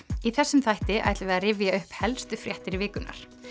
í þessum þætti ætlum við að rifja upp helstu fréttir vikunnar